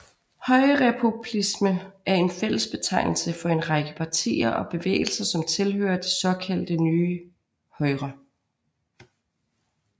Højrepopulisme er en fælles betegnelse for en række partier og bevægelser som tilhører det såkaldte nye højre